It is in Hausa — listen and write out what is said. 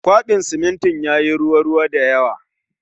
Kwaben simintin yayi ruwa ruwa da yawa